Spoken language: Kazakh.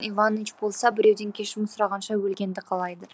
мен білетін иваныч болса біреуден кешірім сұрағанша өлгенді қалайды